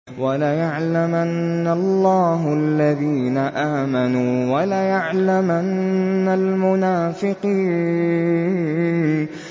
وَلَيَعْلَمَنَّ اللَّهُ الَّذِينَ آمَنُوا وَلَيَعْلَمَنَّ الْمُنَافِقِينَ